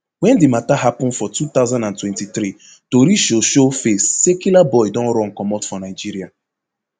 wen di mata happun for two thousand and twenty-three tori show show face say killaboi don run comot for nigeria